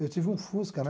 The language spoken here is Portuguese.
Eu tive um Fusca, né?